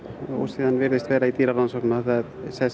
og svo virðist í dýrarannsóknum að það